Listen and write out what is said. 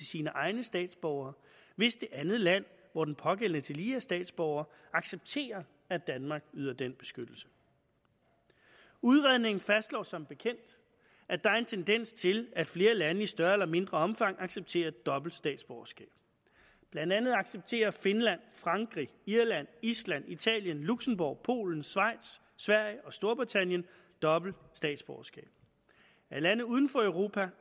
sine egne statsborgere hvis det andet land hvor den pågældende tillige er statsborger accepterer at danmark yder den beskyttelse udredningen fastslår som bekendt at der er en tendens til at flere lande i større eller mindre omfang accepterer dobbelt statsborgerskab blandt andet accepterer finland frankrig irland island italien luxembourg polen schweiz sverige og storbritannien dobbelt statsborgerskab af lande uden for europa